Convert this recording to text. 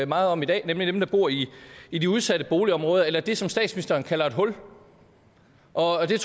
meget om i dag nemlig dem der bor i i de udsatte boligområder eller det som statsministeren kalder et hul og jeg